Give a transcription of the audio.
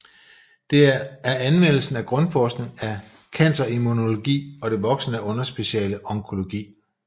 Det er anvendelse af grundforskning af cancerimmunologi og det voksende underspeciale onkologi